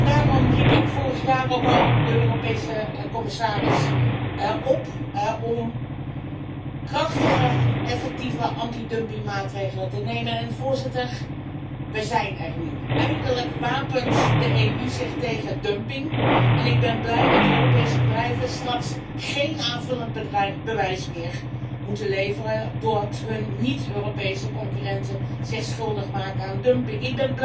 Daarom riep ik vorig jaar ook al de Europese commissaris op om krachtige, effectieve anti dumpingmaatregelen te nemen en we zijn er nu eindelijk wapent de EU zich tegen dumping en ik ben blij dat Europese bedrijven straks geen aanvullend bewijs meer hoeven te leveren voor het feit dat hun niet Europese concurrenten zich schuldig maken aan dumping.